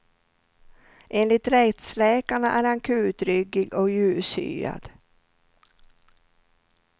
Enligt rättsläkarna är han kutryggig och ljushyad.